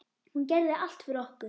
Hún gerði allt fyrir okkur.